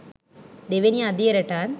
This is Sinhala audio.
දෙවෙනි අදියරටත්